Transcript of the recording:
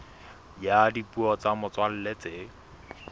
ya dipuo tsa motswalla tse